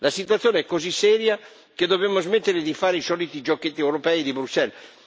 La situazione è così seria che dobbiamo smettere di fare i soliti giochetti europei di Bruxelles.